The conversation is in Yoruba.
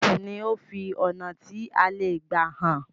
Máàpù ní o fí ọnà tí a lẹ gbà hàn